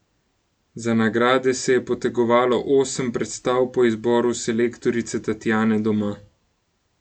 Za nagrade se je potegovalo osem predstav po izboru selektorice Tatjane Doma.